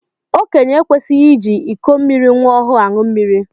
Okenye ekwesighi iji ịkọ mmiri nwa ọhụụ aṅụ mmiri.